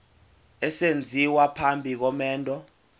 esenziwa phambi komendo